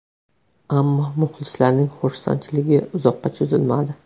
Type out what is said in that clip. Ammo muxlislarning xursandchiligi uzoqqa cho‘zilmadi.